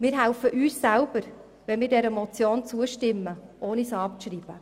Wir helfen uns selber, wenn wir dieser Motion zustimmen und sie nicht abschreiben.